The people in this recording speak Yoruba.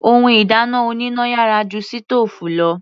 Ohun ìdáná oníná yàrá ju sítòòfù lọ.